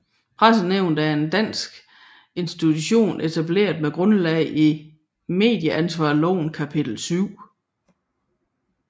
Pressenævnet er en dansk institution etableret med grundlag i Medieansvarslovens kapitel 7